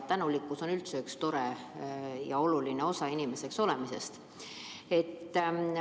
Tänulikkus on üldse üks tore ja oluline osa inimeseks olemisest.